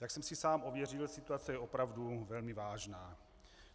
Jak jsem si sám ověřil, situace je opravdu velmi vážná.